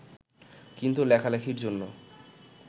কিন্তু লেখালেখির জন্য